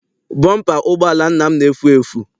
Bọmpa ụgbọala nna m na-efu efu.